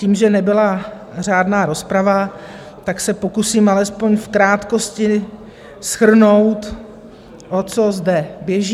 Tím že nebyla řádná rozprava, tak se pokusím alespoň v krátkosti shrnout, o co zde běží.